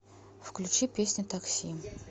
включи песня такси